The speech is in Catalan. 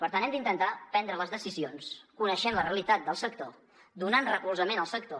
per tant hem d’intentar prendre les decisions coneixent la realitat del sector donant recolzament al sector